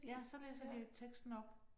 Ja så læser de teksten op